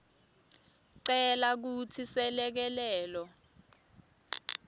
cela kutsi selekelelo